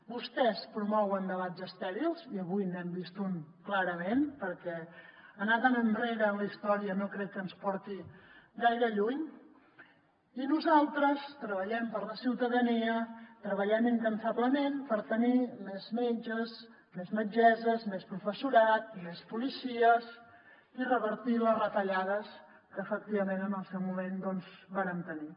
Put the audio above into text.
vostès promouen debats estèrils i avui n’hem vist un clarament perquè anar tan enrere en la història no crec que ens porti gaire lluny i nosaltres treballem per la ciutadania treballem incansablement per tenir més metges més metgesses més professorat més policies i revertir les retallades que efectivament en el seu moment doncs vàrem tenir